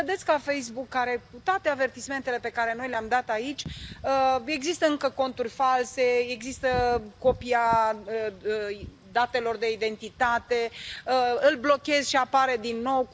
Cum vedeți ca Facebook, unde, cu toate avertismentele pe care noi le am dat aici, există încă conturi false, există copia datelor de identitate, îl blochezi și apare din nou...